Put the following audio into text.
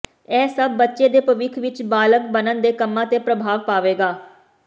ਇਹ ਸਭ ਬੱਚੇ ਦੇ ਭਵਿੱਖ ਵਿੱਚ ਬਾਲਗ਼ ਬਣਨ ਦੇ ਕੰਮਾਂ ਤੇ ਪ੍ਰਭਾਵ ਪਾਵੇਗਾ